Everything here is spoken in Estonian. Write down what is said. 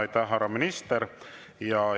Aitäh, härra minister!